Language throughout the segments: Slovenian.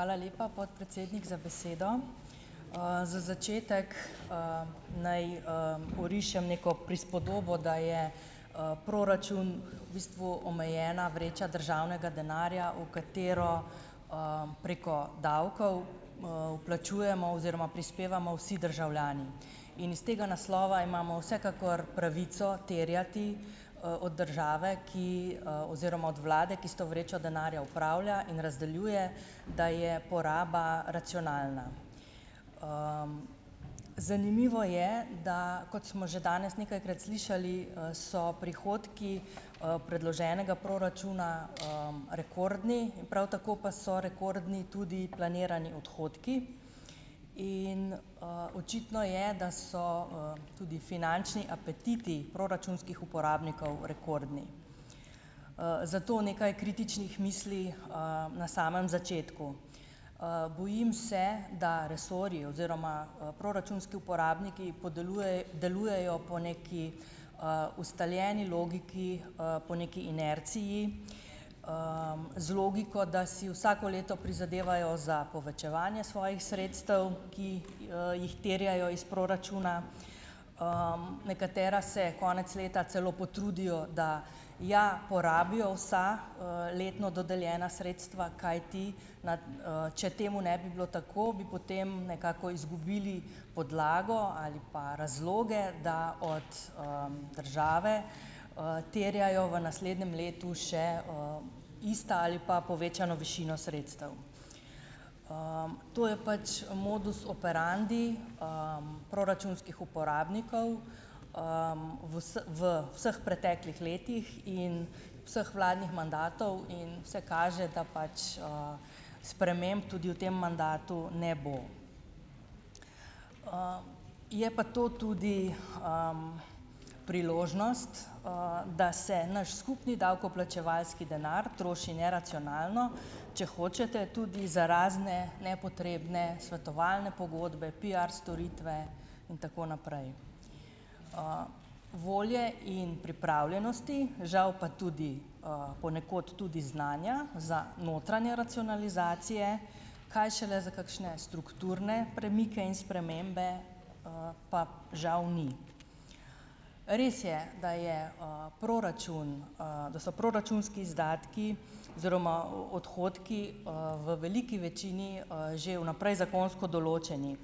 Hvala lepa podpredsednik za besedo, za začetek, naj, orišem neko prispodobo, da je, proračun v bistvu omejena vreča državnega denarja, v katero preko davkov, vplačujemo oziroma prispevamo vsi državljani in iz tega naslova imamo vsekakor pravico terjati, od države, ki, oziroma od vlade, ki s to vrečo denarja upravlja in razdeljuje, da je poraba racionalna, zanimivo je, da kot smo že danes nekajkrat slišali, so prihodki, predloženega proračuna, rekordni, prav tako pa so rekordni tudi planirani odhodki in, očitno je, da so, tudi finančni apetiti proračunskih uporabnikov rekordni, zato nekaj kritičnih misli, na samem začetku, bojim se, da resorji oziroma, proračunski uporabniki podelujejo po neki, ustaljeni logiki, po neki inerciji, z logiko, da si vsako leto prizadevajo za povečevanje svojih sredstev, ki, jih terjajo iz proračuna, nekatera se konec leta celo potrudijo, da ja porabijo vsa, letno dodeljena sredstva, kajti če temu ne bi bilo tako, bi potem nekako izgubili podlago ali pa razloge, da od, države, terjajo v naslednjem letu še, ista ali pa povečano višino sredstev, to je pač modus operandi, proračunskih uporabnikov, v vseh preteklih letih in vseh vladnih mandatov in vse kaže, da pač, sprememb tudi v tem mandatu ne bo, je pa to tudi, priložnost, da se naš skupni davkoplačevalski denar troši neracionalno, če hočete tudi za razne nepotrebne svetovalne pogodbe, piar storitve in tako naprej, volje in pripravljenosti žal pa tudi, ponekod tudi znanja za notranje racionalizacije, kaj šele za kakšne strukturne premike in spremembe, pa žal ni, res je, da je, proračun, da so proračunski izdatki oziroma odhodki, v veliki večini, že vnaprej zakonsko določeni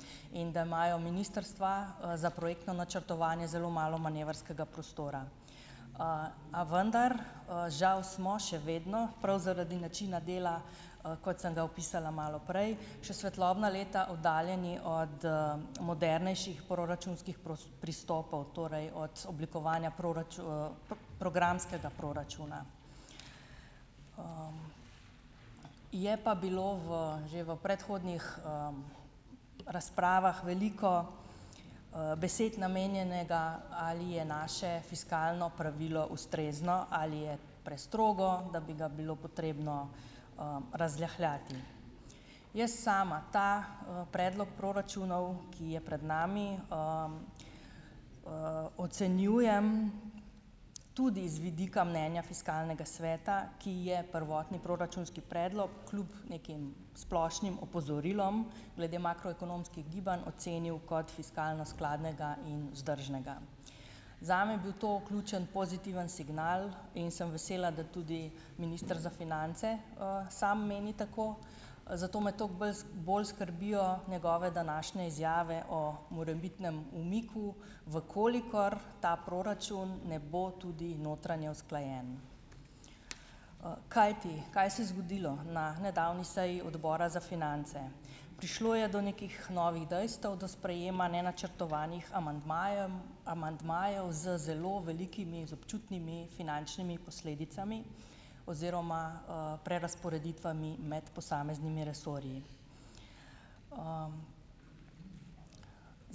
in da imajo ministrstva, za projektno načrtovanje zelo malo manevrskega prostora, a vendar, žal smo še vedno prav zaradi načina dela, kot sem ga opisala malo prej, še svetlobna leta oddaljeni od modernejših proračunskih pristopov, torej od oblikovanja programskega proračuna, je bilo v že v predhodnih, razpravah veliko, besed namenjenega, ali je naše fiskalno pravilo ustrezno ali je prestrogo, da bi ga bilo potrebno, razrahljati, jaz sama ta, predlog proračunov, ki je pred nami, ocenjujem tudi z vidika mnenja fiskalnega sveta, ki je prvotni proračunski predlog kljub nekim splošnim opozorilom glede makroekonomskih gibanj ocenil kot fiskalno skladnega in vzdržnega, zame je bil to ključen pozitivni signal, in sem vesela, da tudi minister za finance, sam meni tako, zato me toliko bolj bolj skrbijo njegove današnje izjave o morebitnem umiku, v kolikor ta proračun ne bo tudi notranje usklajen, kajti kaj se je zgodilo na nedavni seji odbora za finance, prišlo je do nekih novih dejstev, do sprejema nenačrtovanih amandmajem, amandmajev z zelo velikimi, z občutnimi finančnimi posledicami oziroma, prerazporeditvami med posameznimi resorji.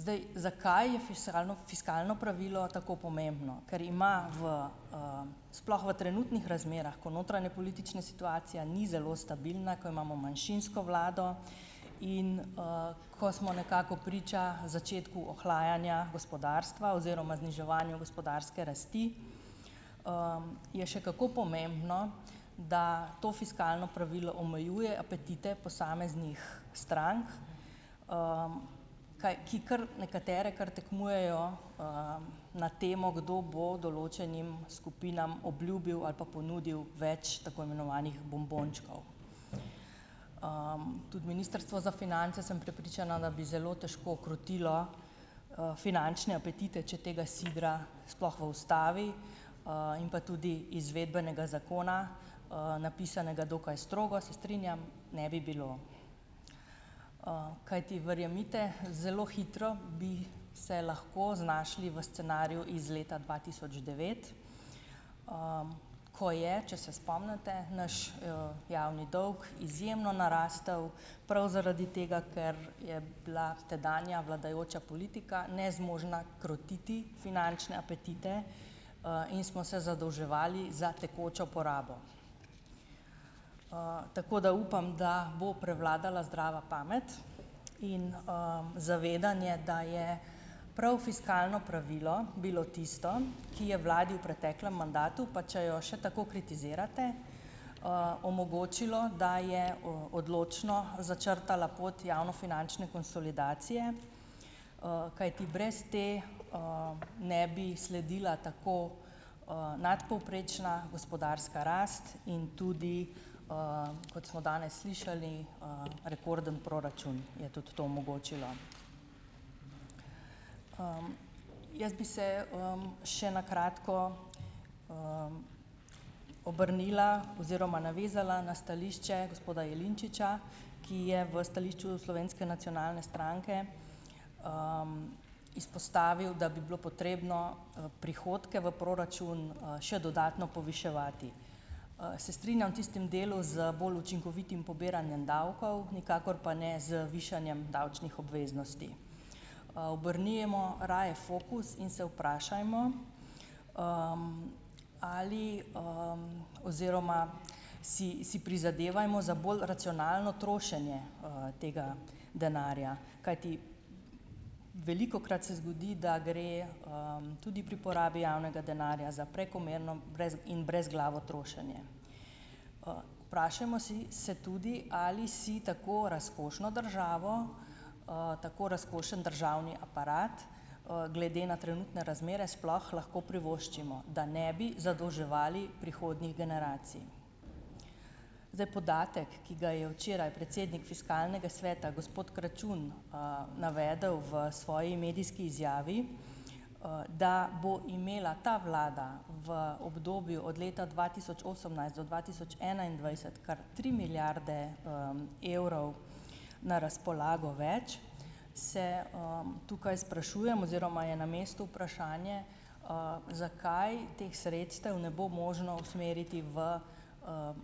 Zdaj, zakaj je fisralno fiskalno pravilo tako pomembno. Ker ima v, sploh v trenutnih razmerah, ko notranjepolitična situacija ni zelo stabilna, ko imamo manjšinsko vlado in, ko smo nekako priča začetku ohlajanja gospodarstva oziroma zniževanje gospodarske rasti, je še kako pomembno, da to fiskalno pravilo omejuje apetite posameznih strank, kaj ki kar nekatere kar tekmujejo, na temo, kdo bo določenim skupinam obljubil ali pa ponudil več tako imenovanih bombončkov, tudi ministrstvo za finance, sem prepričana, da bi zelo težko krotilo, finančne apetite, če tega sidra sploh v ustavi in pa tudi izvedbenega zakona, napisanega dokaj strogo, se strinjam, ne bi bilo, kajti verjemite, zelo hitro bi se lahko znašli v scenariju iz leta dva tisoč devet, ko je, če se spomnite, naš, javni dolg izjemno narastel, prav zaradi tega, ker je bila tedanja vladajoča politika nezmožna krotiti finančne apetite, in smo se zadolževali za tekočo porabo, tako da upam, da bo prevladala zdrava pamet in, zavedanje, da je prav fiskalno pravilo bilo tisto, ki je vladi v preteklem mandatu, pa če jo še tako kritizirate, omogočilo, da je odločno začrtala pot javnofinančne konsolidacije, kajti brez te, ne bi sledila tako, nadpovprečna gospodarska rast in tudi, kot smo danes slišali, rekorden proračun je tudi to omogočilo, jaz bi se, še na kratko, obrnila oziroma navezala na stališče gospoda Jelinčiča, ki je v stališču Slovenske nacionalne stranke, izpostavil, da bi bilo potrebno prihodke v proračun, še dodatno poviševati, se strinjam tistem delu z bolj učinkovitim pobiranjem davkov, nikakor pa ne z višanjem davčnih obveznosti, obrnimo raje fokus in se vprašajmo, ali, oziroma si si prizadevajmo za bolj racionalno trošenje, tega denarja, kajti velikokrat se zgodi, da gre, tudi pri porabi javnega denarja za prekomerno in brezglavo trošenje, vprašajmo si se tudi, ali si tako razkošno državo, tako razkošen državni aparat, glede na trenutne razmere sploh lahko privoščimo, da ne bi zadolževali prihodnjih generacij, zdaj, podatek, ki ga je včeraj predsednik fiskalnega sveta gospod Kračun, navedel v svoji medijski izjavi, da bo imela ta vlada v obdobju od leta dva tisoč osemnajst do dva tisoč enaindvajset kar tri milijarde, evrov na razpolago več se, tukaj sprašujemo oziroma je na mestu vprašanje, zakaj teh sredstev ne bo možno usmeriti v,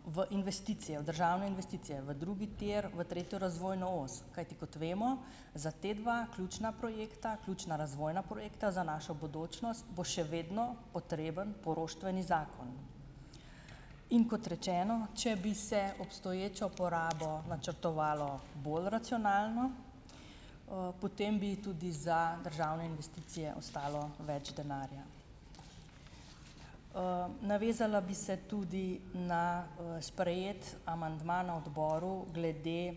v investicijo državno investicijo v drugi tir, v tretjo razvojno os, kajti kot vemo, za te dva ključna projekta, ključna razvojna projekta za našo bodočnost bo še vedno potreben poroštveni zakon, in kot rečeno, če bi se obstoječo porabo načrtovalo bolj racionalno, potem bi tudi za državne investicije ostalo več denarja, navezala bi se tudi na, sprejeti amandma na odboru glede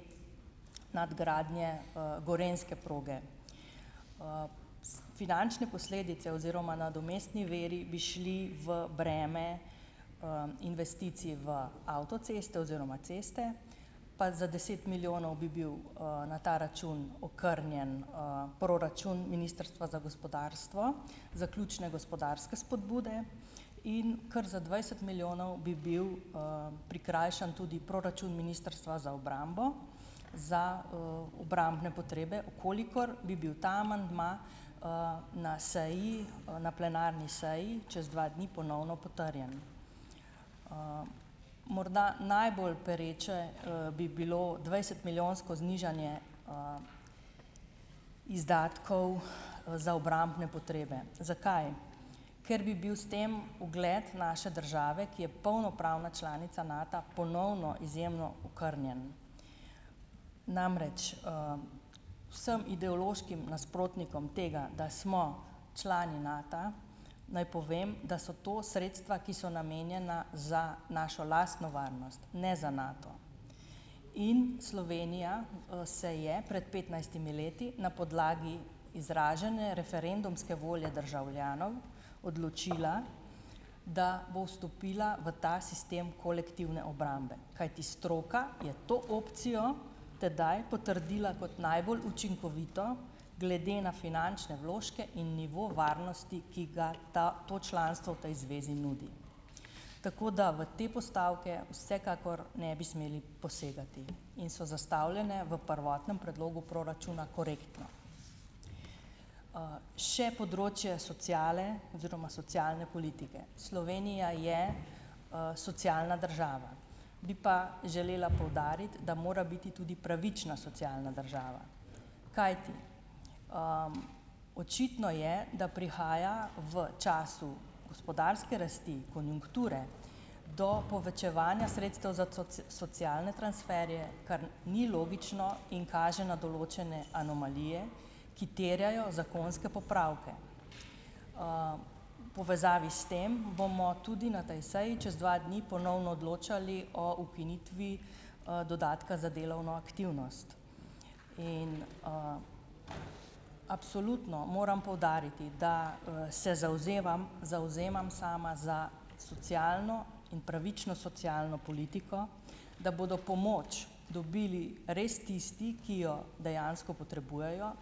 nadgradnje, gorenjske proge. Finančne posledice oziroma nadomestni viri bi šli v breme, investicij v avtoceste oziroma ceste pa za deset milijonov bi bil, na ta račun okrnjen, proračun ministrstva za gospodarstvo, zaključne gospodarske spodbude in kar za dvajset milijonov bi bil, prikrajšan tudi proračun ministrstva za obrambo za, obrambne potrebe, v kolikor bi bil ta amandma, na seji, na plenarni seji čez dva dni ponovno potrjen, morda najbolj pereče, bi bilo dvajsetmilijonsko znižanje izdatkov za obrambne potrebe. Zakaj? Ker bi bil s tem ogled naše države, ki je polnopravna članica Nata, ponovno izjemno okrnjen, namreč, vsem ideološkim nasprotnikom tega, da smo člani Nata, naj povem, da so to sredstva ki so namenjena za našo lastno varnost, ne za Nato, in Slovenija, se je pred petnajstimi leti na podlagi izražene referendumske volje državljanov odločila, da bo stopila v ta sistem kolektivne obrambe, kajti stroka je to opcijo tedaj potrdila kot najbolj učinkovito glede na finančne vložke in nivo varnosti, ki ga ta to članstvo tej zvezi nudi, tako da v te postavke vsekakor ne bi smeli posegati, in so zastavljene v prvotnem predlogu proračuna korektno, še področje sociale oziroma socialne politike, Slovenija je, socialna država, bi pa želela poudariti, da mora biti tudi pravična socialna država, kajti, očitno je, da prihaja v času gospodarske rasti konjunkture do povečevanja sredstev za socialne transferje, kar ni logično, in kaže na določene anomalije, ki terjajo zakonske popravke, v povezavi s tem bomo tudi na tej seji čez dva dni ponovno odločali o ukinitvi, dodatka za delovno aktivnost in, absolutno moram poudariti, da, se zavzemam, zavzemam sama za socialno in pravično socialno politiko, da bodo pomoč dobili res tisti, ki jo dejansko potrebujejo,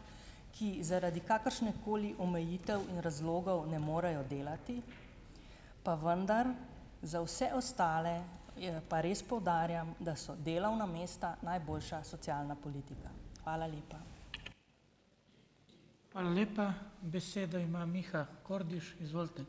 ki zaradi kakršnekoli omejitev in razlogov ne morejo delati, pa vendar za vse ostale. Je pa res, poudarjam, da so delovna mesta najboljša socialna politika, hvala lepa.